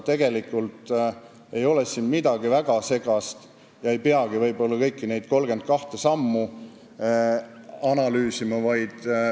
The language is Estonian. Tegelikult ei ole siin midagi väga segast ja ei peagi võib-olla kõiki neid 32 sammu analüüsima.